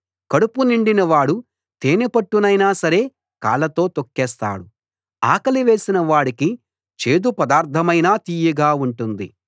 కడుపు నిండిన వాడు తేనెపట్టునైనా సరే కాళ్ళతో తొక్కేస్తాడు ఆకలి వేసిన వాడికి చేదు పదార్థమైనా తియ్యగా ఉంటుంది